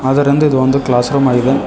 ಅದರೆಂದು ಇದು ಒಂದು ಕ್ಲಾಸ್ರೂಮ್ ಆಗಿದೆ.